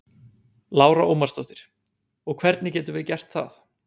Ekkert meiriháttar Hvað er þitt uppáhaldslið í enska boltanum?